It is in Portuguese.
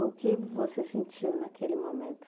O que você sentiu naquele momento?